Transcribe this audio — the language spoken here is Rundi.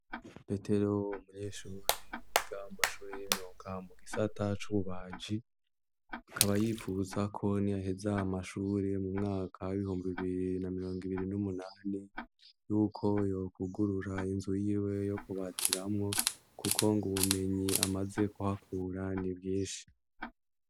Petero umunyeshuri yiga amashuri y'imyuga mu gisata c'ububaji, akaba yifuza ko ni yaheza amashuri mu mwaka w'ibihumbi bibiri na mirongo ibiri n'umunani, yuko yokugurura inzu yiwe yo kubaziramwo, kuko ngo ubumenyi amaze kuhakura ni bwinshi.